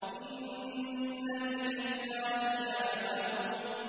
إِنَّ إِلَيْنَا إِيَابَهُمْ